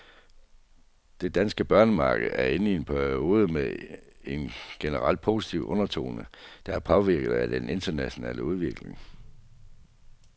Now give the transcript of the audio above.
Det danske børsmarked er inde i en periode med en generelt positiv undertone, der er påvirket af den internationale udvikling.